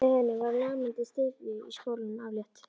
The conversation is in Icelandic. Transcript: Með henni var lamandi syfju í skólanum aflétt.